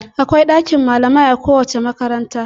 Akwai ɗakin malamai a kowace makaranta..